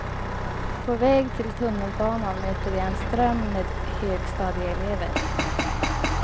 På väg till tunnelbanan möter jag en ström med högstadieelever.